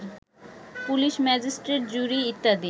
পুলিস-ম্যাজিস্ট্রট-জুরী-ইত্যাদি